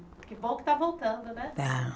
Que bom que está voltando, né? Está